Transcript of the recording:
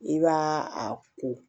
I b'a a ko